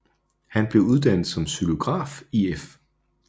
Han blev uddannet som xylograf i F